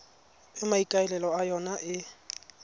e maikaelelo a yona e